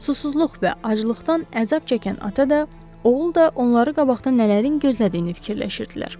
Susuzluq və aclıqdan əzab çəkən ata da, oğul da onları qabaqda nələrin gözlədiyini fikirləşirdilər.